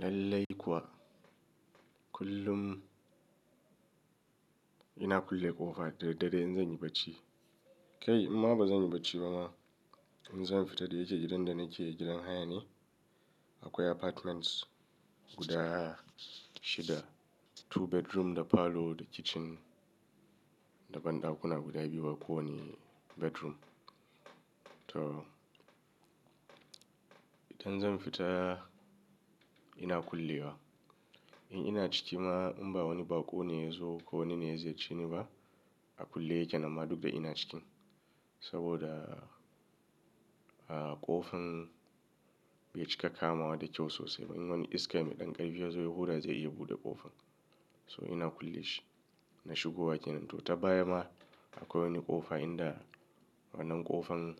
Lallai kuwa, kullum ina kulle ƙofa da daddare in zan yi barci. Kai in ma ba zan yi barci ba ma, in zan fita da yake gidan da nake, gidan haya ne. Akwai apartments guda shida, two bedroom da parlour da kitchen da banɗakuna guda biyu a kowane bedroom. To, idan zan fita ina kullewa. In ina ciki ma in ba wani baƙo ne ya zo ko wani ne ya ziyar ceni ba, a kulle yake na ma duk da ina cikin. Saboda, a ƙofar bai cika kama wa da kyau sosai ba. In wani iska mai ɗan ƙarfi ya zo, ya hura zai iya buɗe ƙofan. So ina kulle shi, na shigowa yake. To ta baya ma akwai wani ƙofa inda wannan ƙofan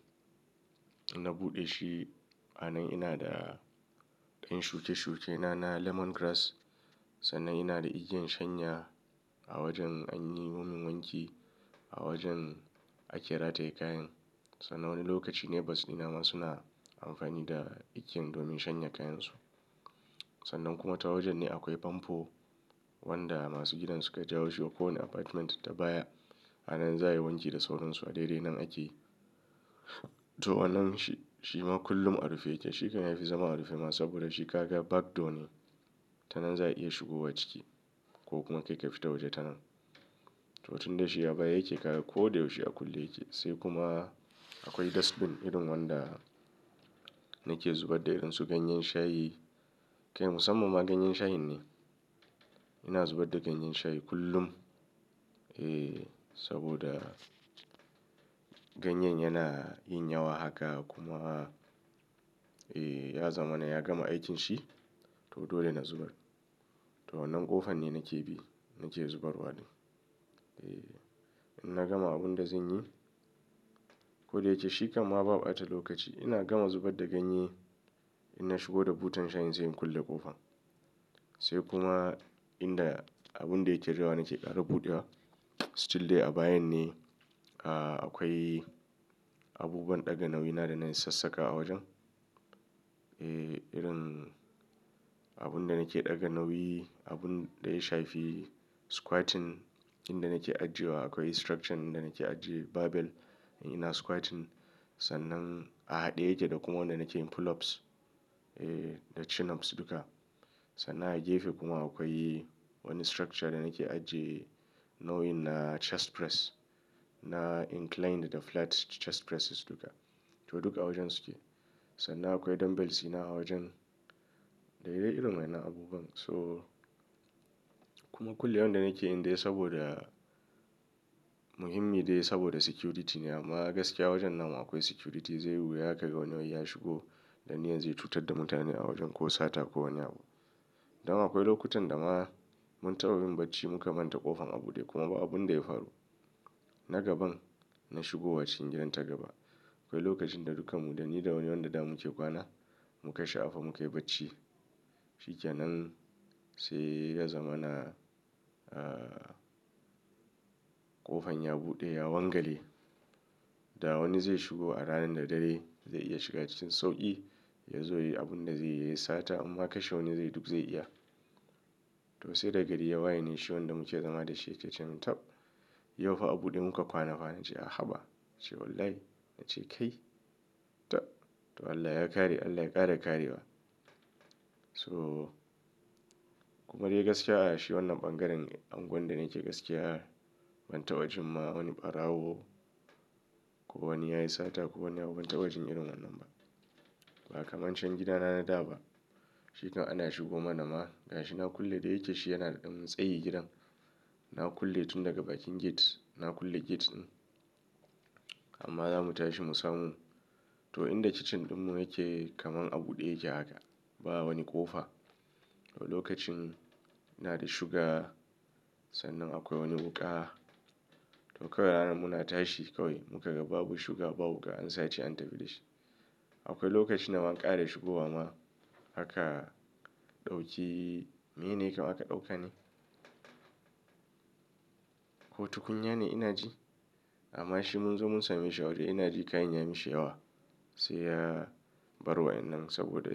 inna buɗe shi. A nan ina da ɗan shuke-shuke na, na lemongrass. Sannan ina da igiyan shanya a wajen an yi domin wanki a wajen ake rataye kayan. Sannan wani lokaci neighbours dina ma suna amfani da igiyan domin shanya kayansu. Sannan kuma ta wajen ne akwai fanfo wanda masu gidan suka jawo shi wa kowane apartment ta baya. A nan za a yi wanki da sauransu a daidai nan ake yi. To wannan shi ma kullum a rufe yake. Shi kam ya fi zama a rufe ma saboda shi kaga back door ne. Ta nan za a iya shigowa ciki ko kuma kai ka fita waje ta nan. To tunda shi a baya yake ƙaga ko da yaushe a kulle yake. Sai kuma akwai dustbin irin wanda nake zubar da irin su ganyen shayi. Kai musamman ma ganyen shayin ne. Ina zubar da ganyen shayi kullum. E, saboda ganyen yana yin yawa haka kuma, e ya zamana ya gama aikin shi. To dole na zubar. To wannan ƙofan ne nake bi nake zubarwa da. Ɗin, in na gama abin da zan yi. Ko da yake shi kam ma ba ɓata lokaci. Ina gama zubar da ganye in na shigo da butan shayin sai kulle ƙofan. Sai kuma inda abun da yake jawa nake ƙara buɗewa. Still dai a bayan ne. A akwai abubuwan ɗaga nauyi na da na yi sassakawa a wajen. E, irin abun da nake ɗaga nauyi, abun daya shafi, squatting, inda nake ajiye wa akwai structure ɗnda nake ajiye barbell in ina squatting. Sannan a haɗe yake da kuma wanda nake pull ups, e da chin ups duka. Sannan a gefe kuma akwai wani structure da nake ajiye nauyin na chest press, na inclined da flat chest presses duka. To duk a wajen su ke. Sannan akwai dumbbells ɗina a wajen. Da daidai irin wa'yannan abubuwan. So kuma kullewan da nake yin dai saboda muhimmi dai saboda security ne. Amma gaskiya wajen na mu akwai security. Zai yi wuya ka ga wani ya shigo da niyan zai cutar da mutane a wajen ko sata ko wani abu. Dan akwai lokutan da ma mun taɓa yin barci muka manta ƙofan a buɗe kuma ba abun da ya faru. Na gaban na shigowa cikin gidan ta gaba. Akwai lokacin da duka mu, da ni da wani yaron da da muke kwana, muka sha apa muka yi barci. Shikenan sai ya zamana, ƙofan ya buɗe, ya wangale. Da wani zai shigo a ranar da dare zai iya shiga cikin sauƙi. Yazo yayi abun da zai yi, yayi sata imma ka she wani zai yi duk zai iya. To sai da gari ya waye ne shi wanda muke zama da shi yake ce min taɓ, yau fa a buɗe muka kwana fa. Na ce a haba. Ya ce wallahi. Na ce kai. Ta. To Allah ya kare, Allah ya ƙara kare wa. So kuma dai gaskiya a shi wannan ɓangaren anguwan da nake gaskiya. Ban taɓa jin ma wani ɓarawo ko wani yayi sata ko wani yayi wani taɓa jin irin wannan ba. Ba kamar can gidana na da ba. Shi kam ana shigo ma na ma. Ga shi na kulle da yake shi yana da ɗan tsayi gidan. Na kulle tun daga bakin gate. Na kulle gate ɗin. Amma zamu tashi mu samu. To inda kitchen ɗin mu yake kamar a buɗe yake haka. Ba wani ƙofa. Lokacin ina da shuga sannan akwai wani wuƙa. To kawai ranar muna tashi kawai muka ga babu shuga babu wuƙa an sace an tafi da shi. Akwai lokacin da ma an ƙara shigowa ma aka ɗauki, mene ne kam aka ɗauka ne? Ko tukunya ne ina ji? Amma shi mun zo mun same a waje ina ji kayan ya yi mishi yawa. Sai ya bar wa'yannan nan saboda.